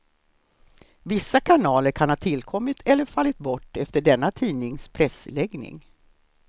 Vissa kanaler kan ha tillkommit eller fallit bort efter denna tidnings pressläggning.